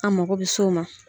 An mako bɛ so ma.